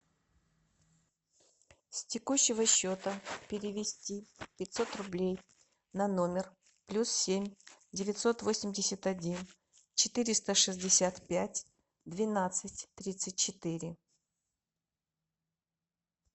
с текущего счета перевести пятьсот рублей на номер плюс семь девятьсот восемьдесят один четыреста шестьдесят пять двенадцать тридцать четыре